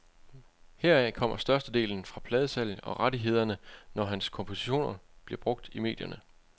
Heraf kommer størstedelen fra pladesalg og rettighederne, når hans kompositioner bliver brugt i medierne.